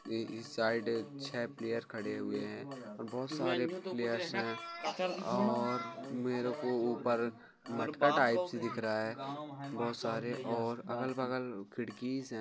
ये इस साइड छे प्लेयर खडे हुऐं है बोहत सारे प्लेयर्स है और मेरे को ऊपर मटका टाइप से दिख रहा है बोहोत सारे और अगल बगल खिड़कीज़ है।